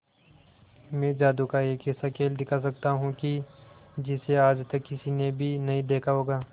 मैं जादू का एक ऐसा खेल दिखा सकता हूं कि जिसे आज तक किसी ने भी नहीं देखा होगा